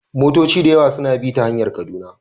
Motoci da yawa suna bi ta hanyar Kaduna